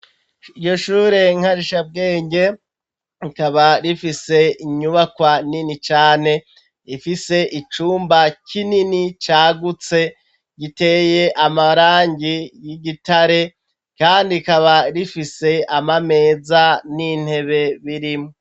Iyo shure nkarisha bwenge kaba rifise inyubakwa nini cane ifise icumba k'inini cagutse giteye amarangi y'igitare, kandi kaba rifise amameza n'intebe birimwo.